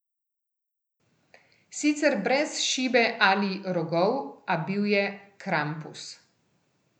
Sicer brez šibe ali rogov, a bil je Krampus.